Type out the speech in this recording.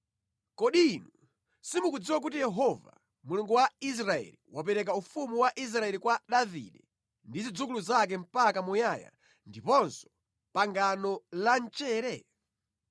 Kodi inu simukudziwa kuti Yehova, Mulungu wa Israeli, wapereka ufumu wa Israeli kwa Davide ndi zidzukulu zake mpaka muyaya ndiponso pangano la mchere?